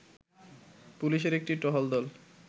পুলিশের একটি টহল দল